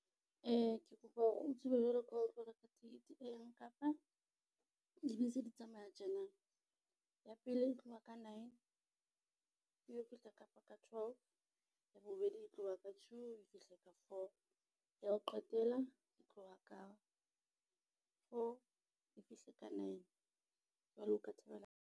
Ke kopa hore o tsebe jwalo ka ha o tlo reka ticket e yang Kapa dibese di tsamaya tjena. Ya pele e tloha ka nine, e be fihla Kapa ka twelve. Ya bobedi e tloha ka two e fihle ka four. Ya ho qetela e tloha ka four e fihle ka nine. Jwale o ka thabela.